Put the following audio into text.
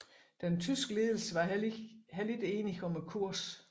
Den tyske ledelse var heller ikke enige om kursen